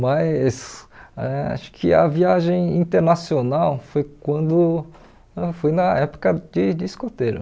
Mas acho que a viagem internacional foi quando foi na época de de escoteiro.